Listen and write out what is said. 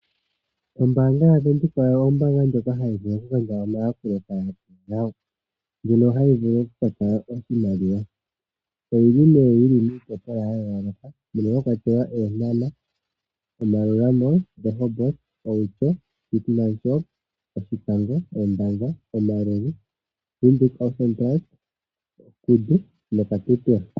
Ombaanga yaVenduka ombaanga ndjoka hayi vulu okugandja omayakulo kaayakulwa yawo. Ndjono hayi vulu oku ka tala oshimaliwa. Oyi li miitopolwa ya yooloka mono mwa kwatelwa Eenhana, Maerua Mall, Rehoboth, Outjo, Keetmanshoop, Oshikango, Ondangwa, Omaruru. Windhoek Ausspannplatz, Kudu noKatutura.